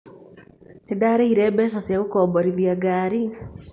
Nĩ ndaarĩhire mbeca cia gũkomborithia ngari.